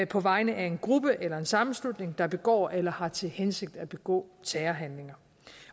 på vegne af en gruppe eller en sammenslutning der begår eller har til hensigt at begå terrorhandlinger